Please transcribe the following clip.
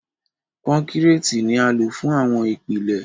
Kọ́kọ́rẹ́ẹ̀tì ni a lò fún àwọn ìpìlẹ̀.